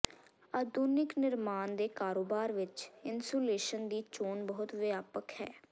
ਆਧੁਨਿਕ ਨਿਰਮਾਣ ਦੇ ਕਾਰੋਬਾਰ ਵਿੱਚ ਇਨਸੂਲੇਸ਼ਨ ਦੀ ਚੋਣ ਬਹੁਤ ਵਿਆਪਕ ਹੈ